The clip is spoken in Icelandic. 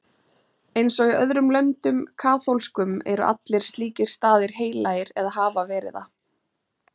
Eins og í öðrum löndum kaþólskum eru allir slíkir staðir heilagir eða hafa verið það.